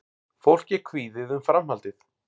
Fólk er kvíðið um framhaldið